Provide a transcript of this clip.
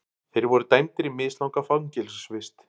Þeir voru dæmdir í mislanga fangelsisvist